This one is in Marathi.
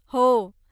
हो.